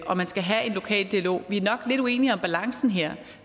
at man skal have en lokal dialog vi er nok lidt uenige om balancen her